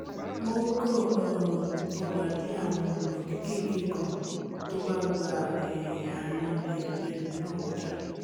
wọ́n o kan um ọgbà dí àwọn ọ̀nà kékèké kan tó bá gba um àrin'lé ẹlòmíràn kọjá